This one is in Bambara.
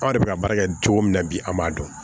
Aw de bɛ ka baara kɛ cogo min na bi an b'a dɔn